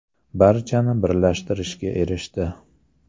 Barchani birlashtirishga erishdi.